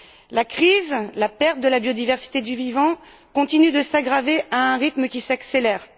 Or, la crise, la perte de la bioversité du vivant continuent de s'aggraver à un rythme qui s'accélére.